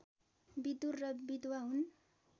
विदुर र विधवा हुन्